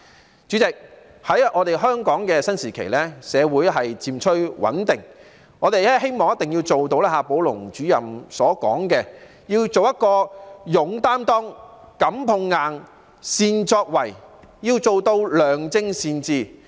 代理主席，在香港的新時期，社會漸趨穩定，我們希望做到夏寶龍主任所說的要求，即要做到"勇擔當、敢碰硬、善作為"，要做到良政善治。